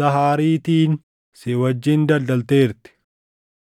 Zaahariitiin si wajjin daldalteerti.